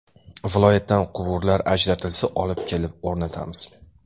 Viloyatdan quvurlar ajratilsa, olib kelib o‘rnatamiz.